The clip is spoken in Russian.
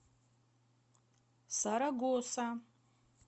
сарагоса